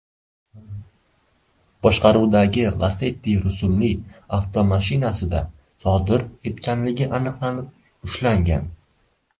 boshqaruvidagi Lacetti rusumli avtomashinasida sodir etganligi aniqlanib ushlangan.